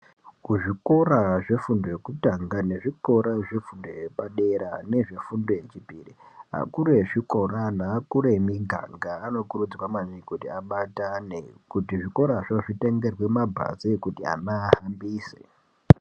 Kuzvikora zvefundo yekutanga nezvikora zvefundo yepadera nezvefundo yechipiri .Akuru ezvikora neakuru emiganga anokurudzwa maningi kuti abatane kuti zvikorazvo zvitengerwe mabhazi ekuti ana ahambise .